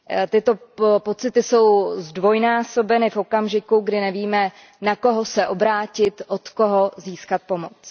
Tyto pocity jsou zdvojnásobeny v okamžiku, kdy nevíme, na koho se obrátit, od koho získat pomoc.